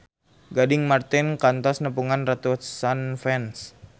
Gading Marten kantos nepungan ratusan fans